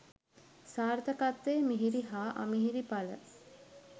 සාර්ථකත්වයේ මිහිරි හා අමිහිරි පල